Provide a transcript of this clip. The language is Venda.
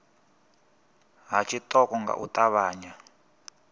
ha tshiṱoko nga u ṱavhanya